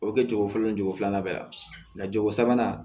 O bɛ kɛ cogo fɔlɔ ni jogo filanan bɛ yan jogo sabanan